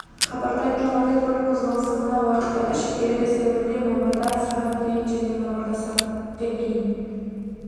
хабарда айтылғандай көлік қозғалысы мына уақыттарда шектеледі сәуірде мамырда сағат дейін және мамырда сағат ден дейін